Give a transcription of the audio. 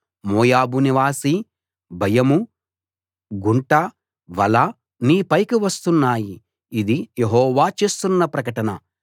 మోయాబు నివాసీ భయమూ గుంటా వలా నీ పైకి వస్తున్నాయి ఇది యెహోవా చేస్తున్న ప్రకటన